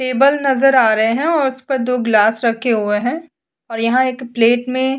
table नजर आ रहे है और उस पर दो गिलास रखे हुए है और यहाँ एक पलेट में --